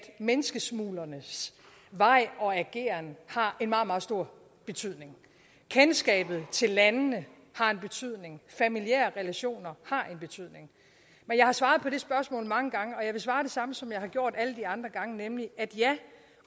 menneskesmuglernes vej og ageren har en meget meget stor betydning kendskabet til landene har en betydning familiære relationer har en betydning men jeg har svaret på det spørgsmål mange gange og jeg vil svare det samme som jeg har gjort alle de andre gange nemlig at ja